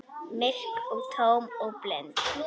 Myrk og tóm og blind.